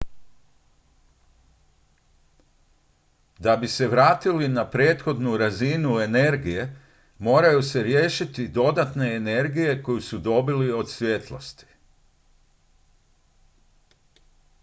da bi se vratili na prethodnu razinu energije moraju se riješiti dodatne energije koju su dobili od svjetlosti